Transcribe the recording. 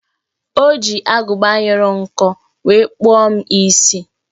O ji agụba nyụrụ nkọ wee kpụọ m isi